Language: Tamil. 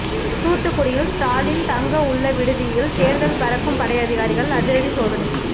தூத்துக்குடியில் ஸ்டாலின் தங்க உள்ள விடுதியில் தேர்தல் பறக்கும் படை அதிகாரிகள் அதிரடி சோதனை